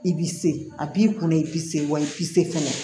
I b'i se a b'i kunna i b'i se wali i b'i se kɛnɛ